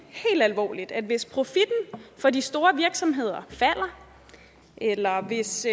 helt alvorligt at hvis profitten for de store virksomheder falder eller at hvis